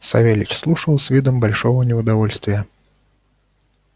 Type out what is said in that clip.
савельич слушал с видом большого неудовольствия